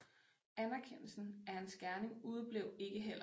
Anerkendelsen af hans gerning udeblev ikke heller